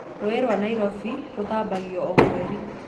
Rũũĩ rwa Nairobi nĩrũthambagio o mweri